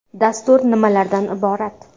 Dastur nimalardan iborat?